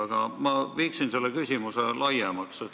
Aga ma viin küsimuse laiemaks.